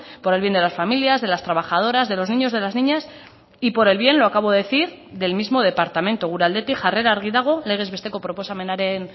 por el bien de las familias de las trabajadoras de los niños de las niñas y por el bien lo acabo de decir del mismo departamento gure aldetik jarrera argi dago legez besteko proposamenaren